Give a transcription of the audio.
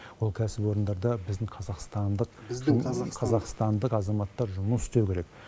ол кәсіпорындарда біздің қазақстандық қазақстандық азаматтар жұмыс істеу керек